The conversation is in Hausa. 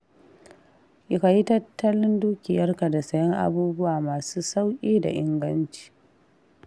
Ka yi tattalin dukiyarka da sayen abubuwa masu sauƙi da inganci.